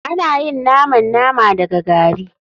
Ana yin naman nama daga gari.